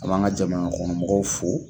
A b'an ka jamanakɔnɔmɔgɔw fo